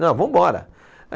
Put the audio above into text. Não, vambora.